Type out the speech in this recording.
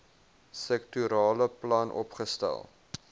sektorale plan opgestel